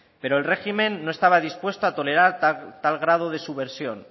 pero el régimen no estaba dispuesto a tolerar tal grado de subversión